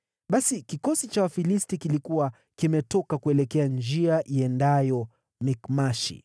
Basi kikosi cha Wafilisti kilikuwa kimetoka kuelekea njia iendayo Mikmashi.